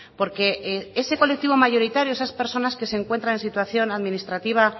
porque ese colectivo mayoritario esas personas que se encuentran en situación administrativa